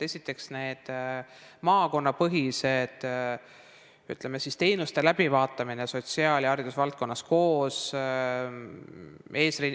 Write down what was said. Esiteks, maakonnapõhine, ütleme, teenuste läbivaatamine sotsiaal- ja haridusvaldkonnas koos.